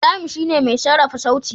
Ibrahim shine mai sarrafa sauti.